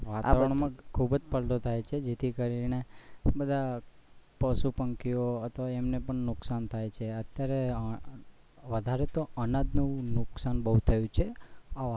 વાતવરણ માં ખુબ જ પલટો થાય છે જે થી કરી ને બૌ બધા પશુ પંખીઓ ને અથવા તો એમને પણ નુકસાન થાય છે અત્યારે તો વધારે તો અનાજ નું નુકસાન બહુ થયુ છે